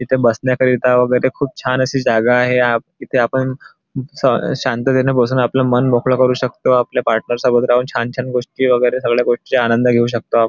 इथे बसण्याकरिता वगैरे खूप छान अशी जागा आहे आप इथे आपण स शांततेने बसून आपलं मन मोकळ करू शकतो आपल्या पार्टनर सोबत राहून छान छान गोष्टी वगैरे सगळ्या गोष्टींचा आनंद घेऊ शकतो आ --